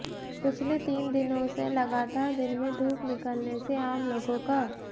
पिछले तीन दिनों से लगातार दिन में धूप निकलने से आम लोगों क